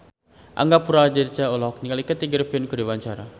Angga Puradiredja olohok ningali Kathy Griffin keur diwawancara